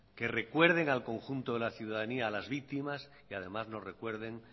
que recuerden al conjunto de la ciudadanía a las víctimas y además nos recuerden